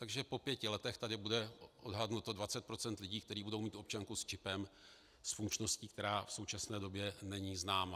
Takže po pěti letech tady bude odhadnuto 20 % lidí, kteří budou mít občanku s čipem s funkčností, která v současné době není známa.